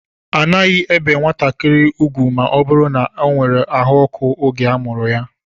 A naghi ébé nwatakịrị ugwu ma ọ bụrụ na o nwèrè àhú ọkụ oge a mụrụ ya